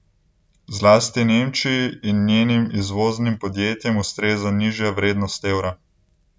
Zlasti Nemčiji in njenim izvoznim podjetjem ustreza nižja vrednost evra.